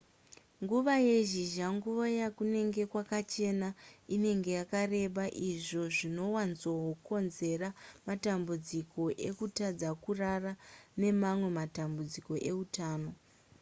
nguva yezhizha nguva yakunenge kwakachena inenge yakareba izvo zvinowanzokonzera matambudziko ekutadza kurara nemamwe matambudziko eutano